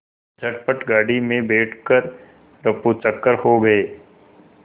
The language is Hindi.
झटपट गाड़ी में बैठ कर ऱफूचक्कर हो गए